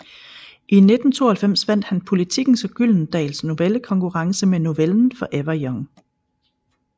I 1992 vandt han Politikens og Gyldendals novellekonkurrence med novellen Forever Young